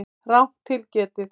Rangt til getið